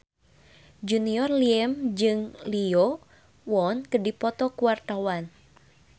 Junior Liem jeung Lee Yo Won keur dipoto ku wartawan